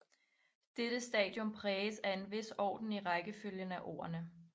Dette stadium præges af en vis orden i rækkefølgen af ordene